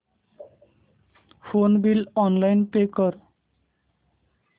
phone bill online pay कर